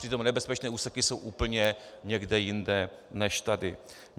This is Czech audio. Přitom nebezpečné úseky jsou úplně někde jinde než tady.